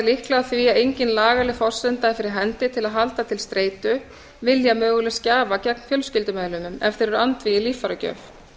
líklega af því að engin lagaleg forsenda er fyrir hendi til að halda til streitu vilja mögulegs gjafa gegn fjölskyldumeðlimum ef þeir eru andvígir líffæragjöf